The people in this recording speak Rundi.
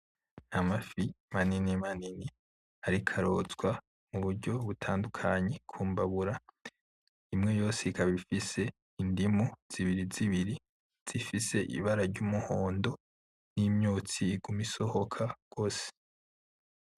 Amafi maninimanini iriko arotswa mu buryo butandukanye ku mbabura imwe yose ikaba ifise indimu zibirizibiri ikaba zifise ibara ry’umuhondo n’imyotsi iguma isohoka gosi.